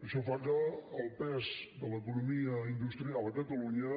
això fa que el pes de l’economia industrial a catalunya